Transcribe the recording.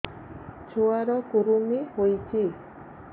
ଛୁଆ ର କୁରୁମି ହୋଇଛି